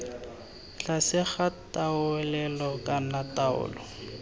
tlase ga taolelo kana taolo